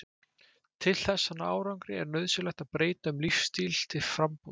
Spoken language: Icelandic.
Til þess að ná árangri er nauðsynlegt að breyta um lífsstíl til frambúðar.